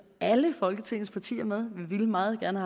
alle folketingets partier med vi ville meget gerne